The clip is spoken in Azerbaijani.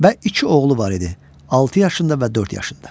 Və iki oğlu var idi: 6 yaşında və 4 yaşında.